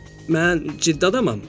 Mən ciddi adamam.